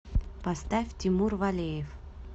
поставь тимур валеев